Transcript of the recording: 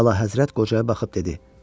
Əlahəzrət qocaya baxıb dedi: